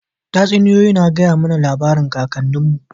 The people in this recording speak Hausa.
Tatsuniyoyi na gaya mana labarin kakannin mu